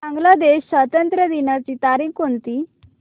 बांग्लादेश स्वातंत्र्य दिनाची तारीख कोणती